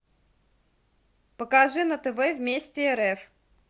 покажи на тв вместе рф